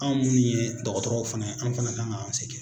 Anw minnu ye dɔgɔtɔrɔw fana ye an fana kan k'an se kɛ